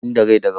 In da rai da rabo.